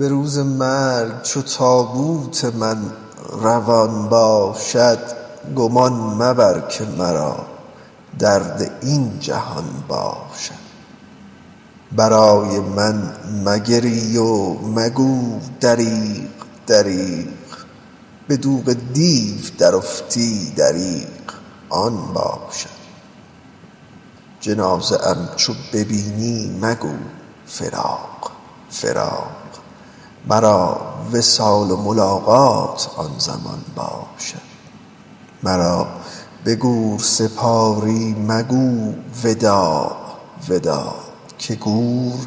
به روز مرگ چو تابوت من روان باشد گمان مبر که مرا درد این جهان باشد برای من مگری و مگو دریغ دریغ به دوغ دیو درافتی دریغ آن باشد جنازه ام چو ببینی مگو فراق فراق مرا وصال و ملاقات آن زمان باشد مرا به گور سپاری مگو وداع وداع که گور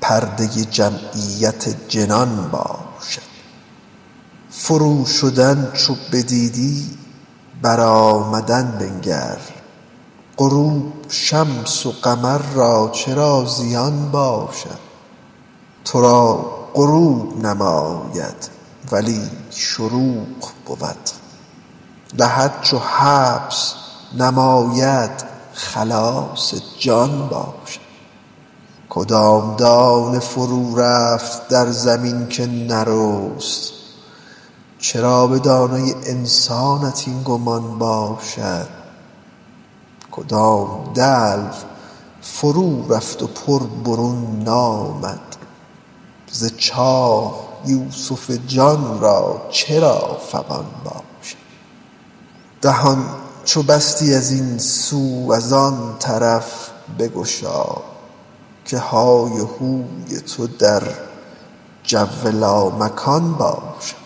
پرده جمعیت جنان باشد فروشدن چو بدیدی برآمدن بنگر غروب شمس و قمر را چرا زیان باشد تو را غروب نماید ولی شروق بود لحد چو حبس نماید خلاص جان باشد کدام دانه فرورفت در زمین که نرست چرا به دانه انسانت این گمان باشد کدام دلو فرورفت و پر برون نامد ز چاه یوسف جان را چرا فغان باشد دهان چو بستی از این سوی آن طرف بگشا که های هوی تو در جو لامکان باشد